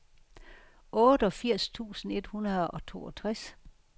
otteogfirs tusind et hundrede og toogtres